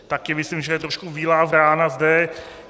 Taky myslím, že je trošku bílá vrána zde.